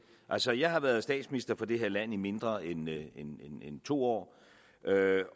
altså jeg har været statsminister for det her land i mindre end to år